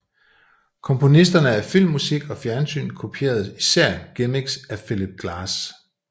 Komponisterne af filmmusik og fjernsyn kopierede især gimmicks af Philip Glass